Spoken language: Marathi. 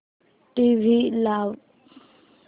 टीव्ही लाव